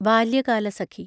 Balyakalasakhi